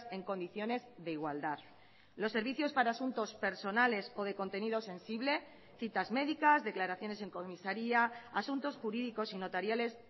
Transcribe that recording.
en condiciones de igualdad los servicios para asuntos personales o de contenido sensible citas médicas declaraciones en comisaría asuntos jurídicos y notariales